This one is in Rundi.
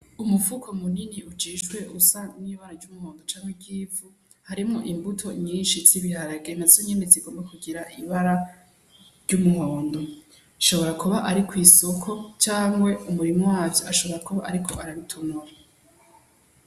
Umufuko munini ujishwe usa n'ibara ry'umuhondo canke ry'ivu harimwo imbuto nyinshi z'ibiharage, nazo zigomba kugira ibara ry'umuhondo hashobora kuba ari kwisoko canke umurimyi wavyo ashobora kuba ariko arabitonora.